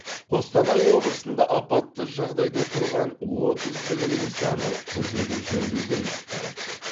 қостанай облысында апатты жағдайда тұрған отыз білім нысаны күрделі жөндеуден өтті